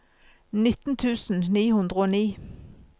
nitten tusen ni hundre og ni